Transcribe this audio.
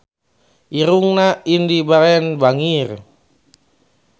Irungna Indy Barens bangir